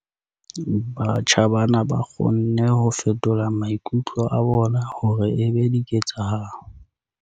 Batjha bana ba kgonne ho fetola maikutlo a bona hore e be diketsahalo.